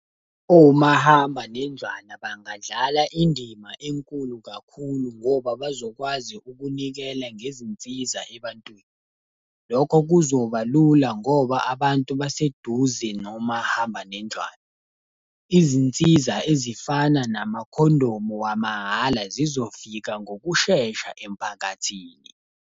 Omahambanendlwana bangadlala indima enkulu kakhulu ngoba bazokwazi ukunikela ngezinsiza ebantwini. Lokho kuzoba lula ngoba abantu baseduze nomahambanendlwane. Izinsiza ezifana namakhondomu wamahhala zizofika ngokushesha emphakathini.